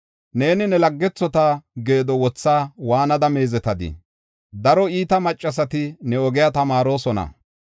Neeni ne laggethota geedo wothaa waanada meezetadii? Daro iita maccasati ne ogiya tamaarosona.